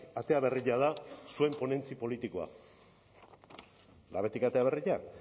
atera berria da zuen ponentzia politikoa labetik atera berria